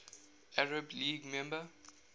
arab league member